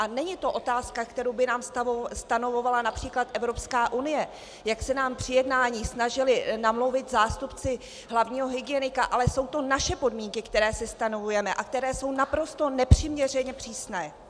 A není to otázka, kterou by nám stanovovala například Evropská unie, jak se nám při jednání snažili namluvit zástupci hlavního hygienika, ale jsou to naše podmínky, které si stanovujeme a které jsou naprosto nepřiměřeně přísné.